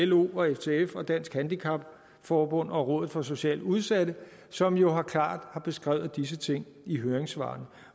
lo ftf dansk handicap forbund og rådet for socialt udsatte som jo klart har beskrevet disse ting i høringssvarene